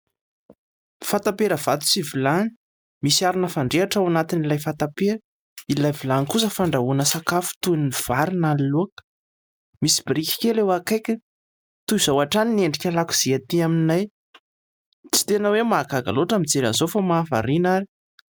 Fatam-pera vato sy vilany : misy arina fandrehatra ao anatin'ilay fatam-pera, ilay vilany kosa fandrahoana sakafo toy ny vary na laoka, misy biriky kely eo akaiky ; toy izao hatrany ny endrika lakozia aty aminay tsy tena hoe mahagaga loatra mijery izao fa mahavariana ary.